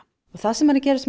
það sem er að gerast